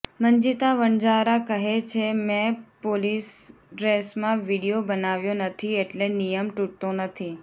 મંજિતા વણજારા કહે છે મે પોલીસડ્રેસમાં વીડિયો બનાવ્યો નથી એટલે નિયમ તૂટતો નથી